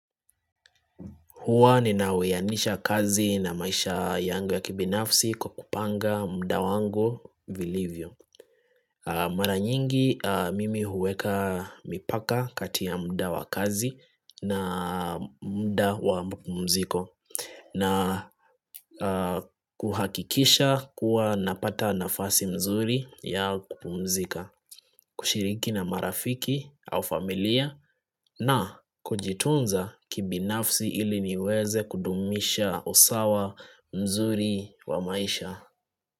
Huwa ninauyanisha kazi na maisha yangu ya kibinafsi kwa kupanga muda wangu vilivyo, Mara nyingi mimi huweka mipaka kati ya muda wa kazi na muda wa mapumziko. Na kuhakikisha kuwa napata nafasi mzuri ya kupumzika. Kushiriki na marafiki au familia na kujitunza kibinafsi ili niweze kudumisha usawa mzuri wa maisha.